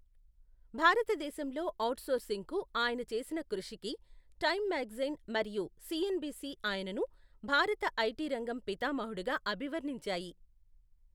భారతదేశంలో ఔట్సోర్సింగ్కు ఆయన చేసిన కృషికి టైమ్ మ్యాగజైన్ మరియు సిఎన్బిసి ఆయనను భారత ఐటీ రంగం పితామహుడుగా అభివర్ణించాయి.